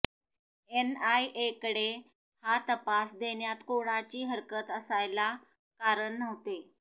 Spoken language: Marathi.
एनआयएकडे हा तपास देण्यात कोणाची हरकत असायला कारण नव्हते